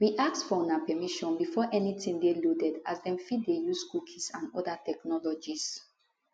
we ask for una permission before anytin dey loaded as dem fit dey use cookies and oda technologies